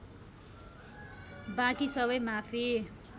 बाँकी सबै माफी